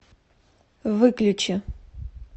выключи